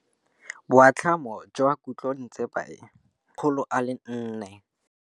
Boatlhamô jwa khutlonnetsepa e, ke 400.